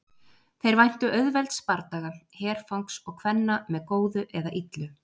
Þeir væntu auðvelds bardaga, herfangs og kvenna með góðu eða illu.